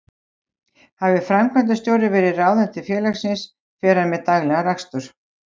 Hafi framkvæmdastjóri verið ráðinn til félagsins fer hann með daglegan rekstur.